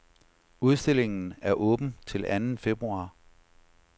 Udstillingen er åben til anden februar.